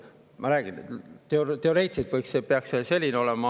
Ma räägin, et teoreetiliselt peaks see nii olema.